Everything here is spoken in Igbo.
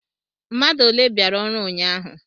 Mmadu ọle biara ọrụ ụnyahụ?